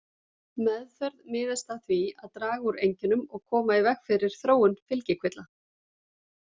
Meðferð miðast að því að draga úr einkennum og koma í veg fyrir þróun fylgikvilla.